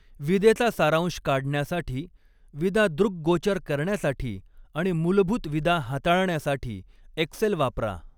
विदेचा सारांश काढण्यासाठी, विदा दृक्गोचर करण्यासाठी आणि मूलभूत विदा हाताळण्यासाठी एक्सेल वापरा.